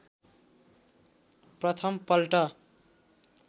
प्रथम पल्ट